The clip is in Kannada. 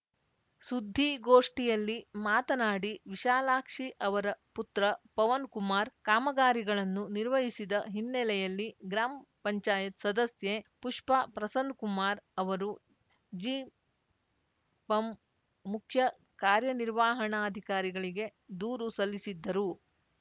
ಸುದ್ದಿಗೋಷ್ಠಿಯಲ್ಲಿ ಮಾತನಾಡಿ ವಿಶಾಲಾಕ್ಷಿ ಅವರ ಪುತ್ರ ಪವನ್‌ ಕುಮಾರ್‌ ಕಾಮಗಾರಿಗಳನ್ನು ನಿರ್ವಹಿಸಿದ ಹಿನ್ನೆಲೆಯಲ್ಲಿ ಗ್ರಾಮ್ಪಂಚಾಯತ್ ಸದಸ್ಯೆ ಪುಷ್ಪಾ ಪ್ರಸನ್ನಕುಮಾರ್‌ ಅವರು ಜಿಪಂ ಮುಖ್ಯಕಾರ್ಯನಿರ್ವಹಣಾಧಿಕಾರಿಗೆ ದೂರು ಸಲ್ಲಿಸಿದ್ದರು